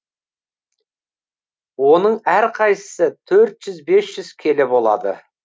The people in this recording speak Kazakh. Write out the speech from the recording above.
оның әрқайсысы төрт жүз бес жүз келі болады